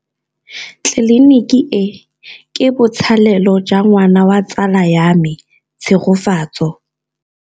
Tleliniki e, ke botsalêlô jwa ngwana wa tsala ya me Tshegofatso.